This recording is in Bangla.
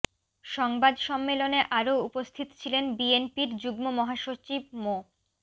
সংবাদ সম্মেলনে আরও উপস্থিত ছিলেন বিএনপির যুগ্ম মহাসচিব মো